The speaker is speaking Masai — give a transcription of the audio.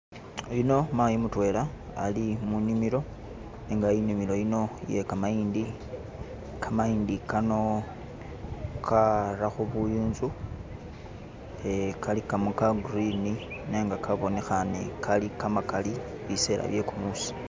Yuuno mayi mutwela Ali munimilo nenga inimilo yino iye kamayindi kamayindi Kano karakho buyunzu ea Kali kamo ka'green nenga kabonekhane Kali kamakali bisela bye'kumusi